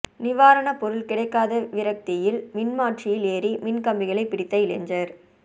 நிவாரணப் பொருள் கிடைக்காத விரக்தியில் மின்மாற்றியில் ஏறி மின்கம்பிகளை பிடித்த இளைஞர்